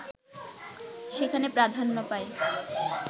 সেখানে প্রাধান্য পায়